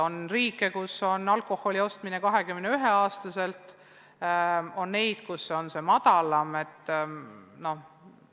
On riike, kus on alkoholi ostmine lubatud 21-aastaselt, on neid, kus see vanusepiir on madalam.